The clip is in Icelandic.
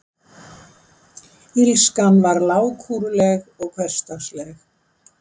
Illskan var lágkúruleg og hversdagsleg.